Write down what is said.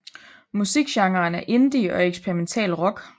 Musik genren er indie og eksperimental rock